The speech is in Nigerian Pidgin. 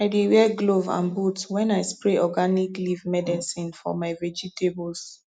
i dey wear glove and boot when i spray organic leaf medicine for my vegetables